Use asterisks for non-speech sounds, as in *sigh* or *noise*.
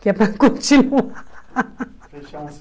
Que é para continuar. *laughs* *unintelligible*